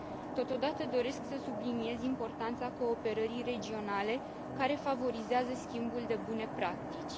Totodată, doresc să subliniez importanța cooperării regionale, care favorizează schimbul de bune practici.